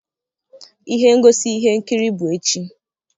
ihe ngosi ihe nkiri bụ echi